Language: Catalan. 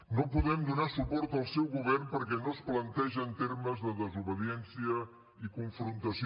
no podem donar suport al seu govern perquè no es planteja en termes de desobediència i confrontació